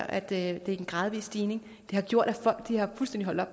at det er en gradvis stigning har gjort